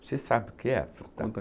Você sabe o que é?onta...